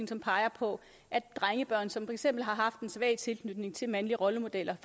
som peger på at drengebørn som for eksempel har haft en svag tilknytning til mandlige rollemodeller